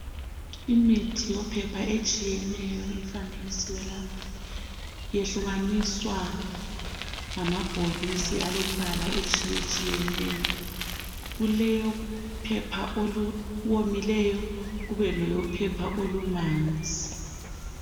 Imithi yophepha etshiyeneyo ifanekisiwe lapha. Iyehlukaniswa ngamabhokisi alombala etshiyetshiyeneyo. Kuleyophepha oluwomileyo kubeleyophepha olumanzi.